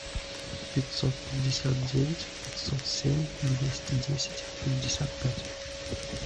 пятьсот пятьдесят девять пятьсот семь двести десять пятьдесят пять